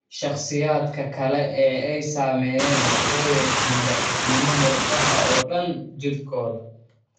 Shakhsiyaadka kale ee ay saameeyeen waxay yeeshaan daciifnimo murqaha oo dhan jirkooda.